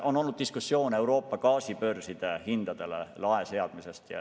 On olnud diskussioone Euroopa gaasibörside hindadele lae seadmisest.